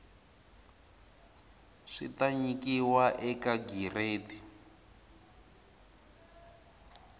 swi ta nyikiwa eka giredi